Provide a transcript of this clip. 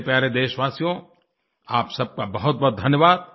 मेरे प्यारे देशवासियो आप सबका बहुतबहुत धन्यवाद